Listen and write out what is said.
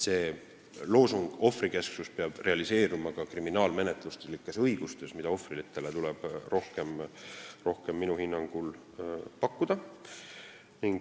See loosung "ohvrikesksus" peab realiseeruma ka kriminaalmenetluslikes õigustes, mida ohvritele tuleb minu hinnangul rohkem pakkuda.